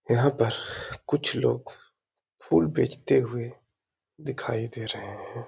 यहाँ पर कुछ लोग फूल बेचते हुए दिखाई दे रहें हैं।